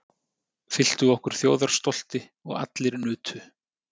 Fylltu okkur þjóðarstolti og allir nutu.